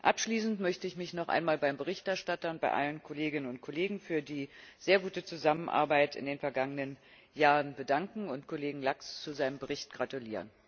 Abschließend möchte ich mich noch einmal beim Berichterstatter und bei allen Kolleginnen und Kollegen für die sehr gute Zusammenarbeit in den vergangenen Jahren bedanken und Kollegen Lax zu seinem Bericht gratulieren.